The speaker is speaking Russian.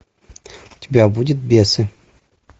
у тебя будет бесы